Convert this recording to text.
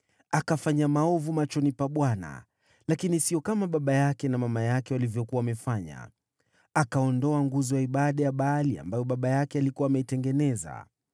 Akafanya maovu machoni pa Bwana , lakini sio kama baba yake na mama yake walivyokuwa wamefanya. Akaondoa nguzo ya ibada ya Baali ambayo baba yake alikuwa ameitengeneza.